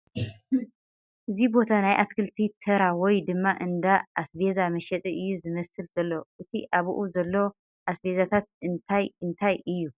እዚ ቦታ ናይ ኣትክልቲ ተራ ወይ ድማ እንዳ ኣስቤዛ መሸጢ እዩ ዝመስል ዘሎ ፡ እቲ ኣብኡ ዘሎ ኣስቤዛታት እንታይ እንታይ እዩ ፡